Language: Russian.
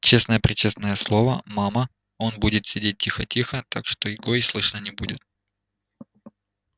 честное пречестное слово мама он будет сидеть тихо тихо так что его и слышно не будет